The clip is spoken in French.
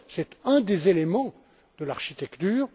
C'est un des éléments de l'architecture.